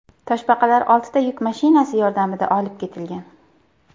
Toshbaqalar oltita yuk mashinasi yordamida olib ketilgan.